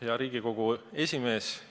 Hea Riigikogu esimees!